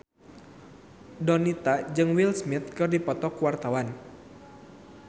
Donita jeung Will Smith keur dipoto ku wartawan